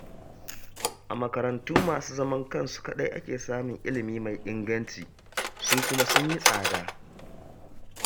A makarantu masu zaman kansu kaɗai ake samun ilimi mai inganci, su kuma sun yi tsada